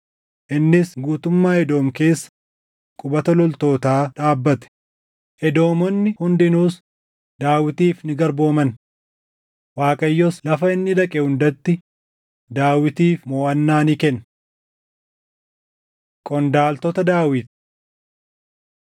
Innis guutummaa Edoom keessa qubata loltootaa dhaabbate; Edoomonni hundinuus Daawitiif ni garbooman. Waaqayyos lafa inni dhaqe hundatti Daawitiif moʼannaa ni kenne. Qondaaltota Daawit 8:15‑18 kwf – 1Sn 18:14‑17